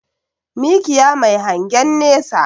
Mikiya Mai hangen nesa